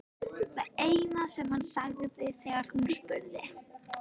Það eina sem hann sagði þegar hún spurði.